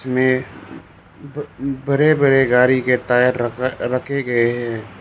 में बड़े बड़े गाड़ी के टायर रखे गए हैं।